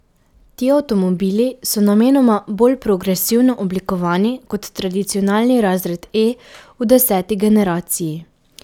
Ti avtomobili so namenoma bolj progresivno oblikovani, kot tradicionalni razred E v deseti generaciji.